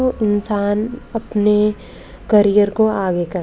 वो इंसान अपने करियर को आगे कर--